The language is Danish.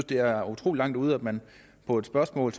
det er utrolig langt ude at man på et spørgsmål